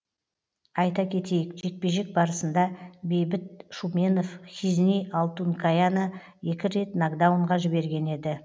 айта кетейік жекпе жек барысында бейбіт шуменов хизни алтункаяны екі рет нокдаунға жіберген еді